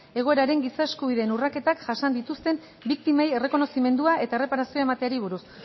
egoeran giza eskubideen urraketak jasan dituzten biktimei errekonozimendua eta erreparazioa emateari buruzko